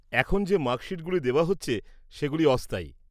এখন যে মার্কশিটগুলি দেওয়া হচ্ছে সেগুলি অস্থায়ী।